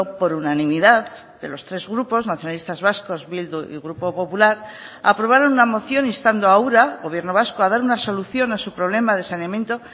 por unanimidad de los tres grupos nacionalistas vascos bildu y grupo popular aprobaron una moción instando a ura gobierno vasco a dar una solución a su problema de saneamiento